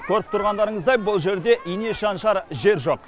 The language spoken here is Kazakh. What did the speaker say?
көріп тұрғандарыңыздай бұл жерде ине шаншар жер жоқ